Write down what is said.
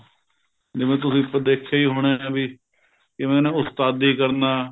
ਜਿਵੇਂ ਤੁਸੀਂ ਦੇਖਿਆ ਹੀ ਹੋਣਾ ਵੀ ਜਿਵੇਂ ਨਾ ਉਸਤਾਦੀ ਕਰਨਾ